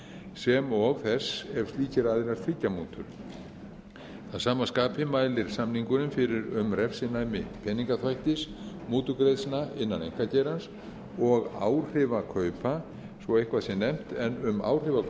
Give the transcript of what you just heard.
sem og þess ef slíkir aðilar þiggja mútur að sama skapi mælir samningurinn fyrir um refsinæmi peningaþvættis mútugreiðslna innan einkageirans og áhrifakaupa svo eitthvað sé nefnt en um áhrifakaup er að